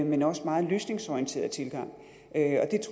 men også meget løsningsorienterede tilgang